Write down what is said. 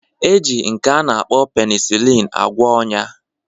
E ji nke a na-akpọ penisilin agwọ ọn̄ya